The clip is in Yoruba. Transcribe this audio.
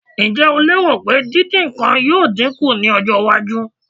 Ǹjẹ́ o lérò pé dídín nǹkan yóò dín kù ní ọjọ́-iwájú?